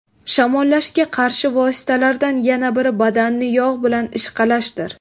Shamollashga qarshi vositalardan yana biri badanni yog‘ bilan ishqalashdir.